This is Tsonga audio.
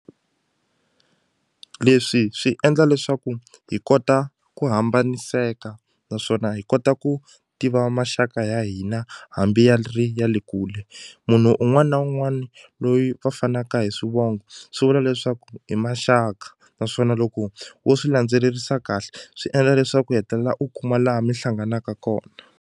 Leswi swi endla leswaku hi kota ku hambaniseka naswona hi kota ku tiva maxaka ya hina hambi ya ri ya le kule munhu un'wani na un'wani loyi va fanaka hi swivongo swi vula leswaku hi maxaka naswona loko wo swi landzelerisa kahle swi endla leswaku u hetelela u kuma laha mi hlanganaka kona.